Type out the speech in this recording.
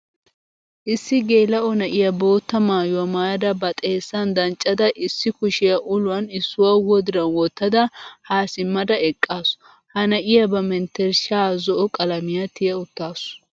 Issi gelao na'iyaa boottaa maayuwaa maayada ba xeessan danccada issi kushiyaa uluwan issuwa wodiran wottada ha simmada eqqasu. Ha na'iyaa ba menttershsha zo''o qalamiya tiya uttasu.